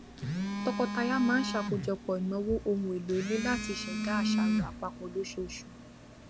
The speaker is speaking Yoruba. tọkọtaya máa ń ṣakojọpọ ìnáwó ohun èlò ilé láti ṣẹdá àṣàrò àpapọ lóṣooṣù